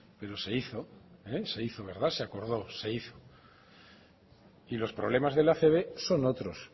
pero se hizo se hizo la base acordó se hizo y los problemas de la acb son otros